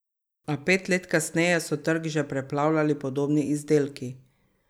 A pet let kasneje so trg že preplavljali podobni izdelki.